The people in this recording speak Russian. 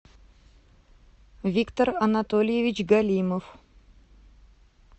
виктор анатольевич галимов